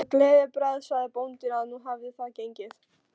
Með gleðibragði sagði bóndinn að nú hefði það gengið.